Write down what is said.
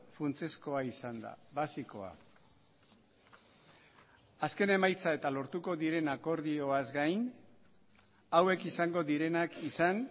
funtsezkoa izan da basikoa azken emaitza eta lortuko diren akordioaz gain hauek izango direnak izan